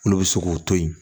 Olu bɛ se k'o to yen